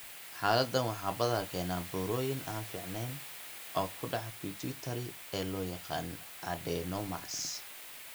Xaaladdan waxaa badanaa keena burooyin aan fiicneyn oo ku dhaca pituitary ee loo yaqaan 'adenomas'.